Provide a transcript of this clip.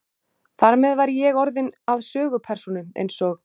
Þar með væri ég orðinn að sögupersónu einsog